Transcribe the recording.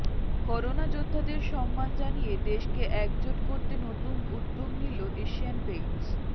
corona যোদ্ধাদের সম্মান জানিয়ে দেশকে একজোট করতে নতুন উদ্যোগ নিল এশিয়ান পেইন্টস